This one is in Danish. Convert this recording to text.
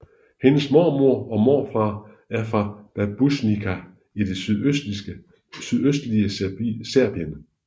Hendes mormor og morfar er fra Babušnica i det sydøstlige Serbien